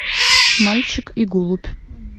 мальчик и голубь